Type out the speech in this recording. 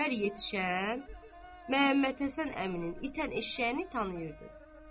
Hər yetişən Məhəmmədhəsən əminin itən eşşəyini tanıyırdı.